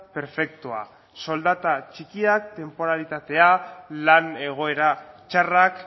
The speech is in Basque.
perfektua soldata txikiak tenporalitatea lan egoera txarrak